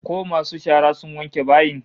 Ko masu shara sun wanke bayin?